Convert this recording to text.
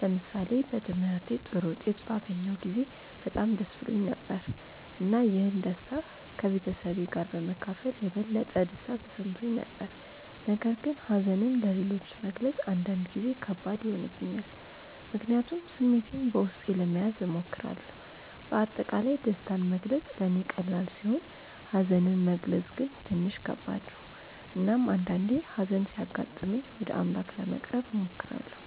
ለምሳሌ በትምህርቴ ጥሩ ውጤት ባገኘሁ ጊዜ በጣም ደስ ብሎኝ ነበር፣ እና ይህን ደስታ ከቤተሰቤ ጋር በመካፈል የበለጠ ደስታ ተሰምቶኝ ነበር። ነገር ግን ሀዘንን ለሌሎች መግለጽ አንዳንድ ጊዜ ከባድ ይሆንብኛል፣ ምክንያቱም ስሜቴን በውስጤ ለመያዝ እሞክራለሁ። በአጠቃላይ ደስታን መግለጽ ለእኔ ቀላል ሲሆን ሀዘንን መግለጽ ግን ትንሽ ከባድ ነው። እናም አንዳአንዴ ሀዘን ሲያጋጥመኝ ወደ አምላክ ለመቅረብ እሞክራለሁ።